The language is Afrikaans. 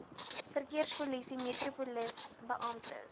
verkeerspolisie metropolisie beamptes